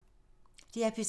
DR P3